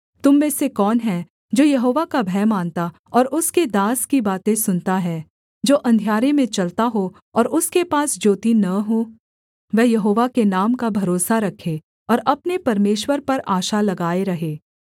तुम में से कौन है जो यहोवा का भय मानता और उसके दास की बातें सुनता है जो अंधियारे में चलता हो और उसके पास ज्योति न हो वह यहोवा के नाम का भरोसा रखे और अपने परमेश्वर पर आशा लगाए रहे